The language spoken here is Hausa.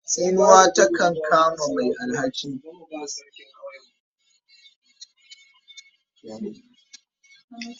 Tsinuwa takan kama mai alhaki.